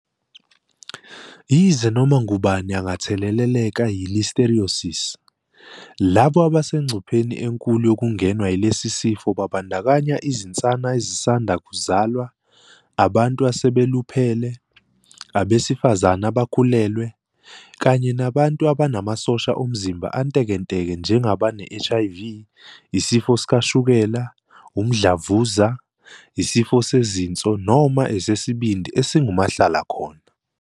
Yize noma ngubani ongatheleleka yi-Listeriosis, labo abasengcupheni enkulu yokungenwa yilesi sifo babandakanya izinsana ezisanda kuzalwa, abantu asebeluphele, abesifazane abakhulelwe, kanye nabantu abanamasosha omzimba antekenteke njengabane-HIV, isifo sikashukela, umdlavuza, isifo sezinso noma esesibindi esingumahla lakhona.